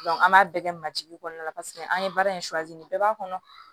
an b'a bɛɛ kɛ majigin kɔnɔna na paseke an ye baara in bɛɛ b'a kɔnɔ